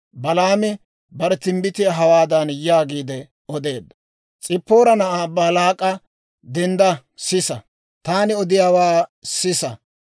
Balaami bare timbbitiyaa hawaadan yaagiide odeedda; «S'ippoora na'aa Baalaak'aa dendda sisa; taani odiyaawaa sisa!